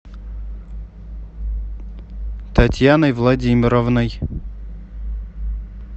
татьяной владимировной